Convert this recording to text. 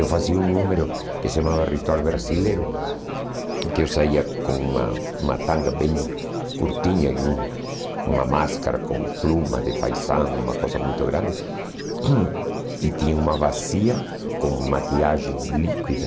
Eu fazia um número que se chamava Ritual Brasileiro, que eu saía com uma uma tanga bem curtinha e um uma máscara com pluma de faisão, uma coisa muito grande, e tinha uma bacia com maquiagem líquida,